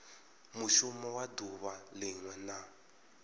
mushumo wa duvha linwe na